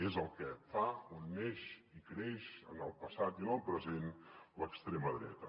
és el que fa on neix i creix en el passat i en el present l’extrema dreta